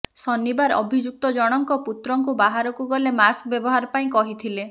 ଶନିବାର ଅଭିଯୁକ୍ତଜଣଙ୍କ ପୁତ୍ରଙ୍କୁ ବାହାରକୁ ଗଲେ ମାସ୍କ ବ୍ୟବହାର ପାଇଁ କହିଥିଲେ